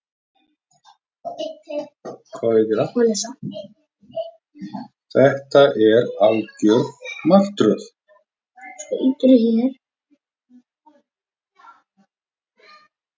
Þetta er algjör martröð